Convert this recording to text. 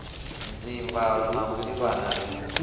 dzimvalo na u ḓivhana ri